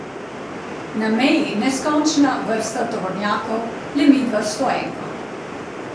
Na meji neskončna vrsta tovornjakov, le midva s stoenko.